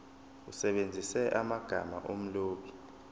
usebenzise amagama omlobi